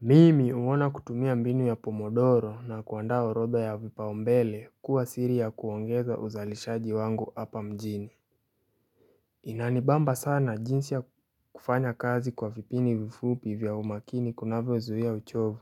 Mimi huona kutumia mbinu ya pomodoro na kuandaa orodha ya vipau mbele kuwa siri ya kuongeza uzalishaji wangu hapa mjini Inanibamba sana jinsi ya kufanya kazi kwa vipindi vifupi vya umakini kunavyo zuhia uchovu